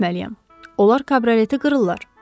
Onlar kabroleti qırırlar.